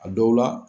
A dɔw la